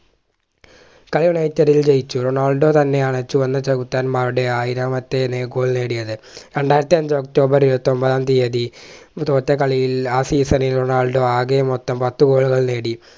കളി ജയിച്ചു റൊണാൾഡോ തന്നെയാണ് ചുവന്ന ചെകുത്താന്മാരുടെ ആയിരാമത്തെ Goal നേടിയത് രണ്ടായിരത്തി അഞ്ച് ഒക്ടോബർ ഇരുപത്തിയൊമ്പതാം തീയതി തോറ്റ കളിയിൽ ആ season ൽ റൊണാൾഡോ ആകെ മൊത്തം പത്തു Goal കൾ നേടി